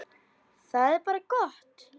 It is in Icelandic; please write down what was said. Það er bara gott.